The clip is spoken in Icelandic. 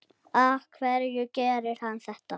Af hverju gerir hann þetta?